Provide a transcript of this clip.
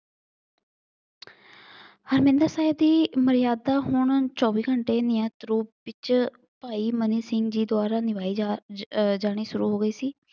ਹਰਮਿੰਦਰ ਸਾਹਿਬ ਦੀ ਮਰਿਆਦਾ ਹੁਣ ਚੋਵੀ ਘੰਟੇ ਨਿਯਤ ਰੂਪ ਵਿੱਚ ਭਾਈ ਮਨੀ ਸਿੰਘ ਜੀ ਦੁਆਰਾ ਨਿਭਾਈ ਜਾ ਅਹ ਜਾਣੀ ਸ਼ੁਰੂ ਹੋ ਗਈ ਸੀ।